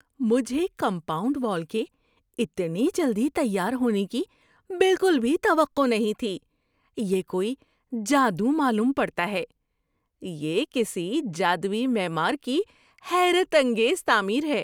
مجھے compound wall کے اتنی جلدی تیار ہونے کی بالکل بھی توقع نہیں تھی – یہ کوئی جادو معلوم پڑتا ہے! یہ کسی جادوئی معمار کی حیرت انگیز تعمیر ہے۔